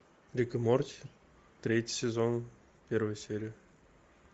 рик и морти третий сезон первая серия